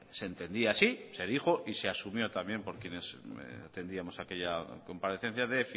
se entendía así y se dijo y se asumió también por quienes entendíamos aquella comparecencia de